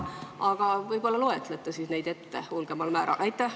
Aga võib-olla loete neid suuremal määral ette.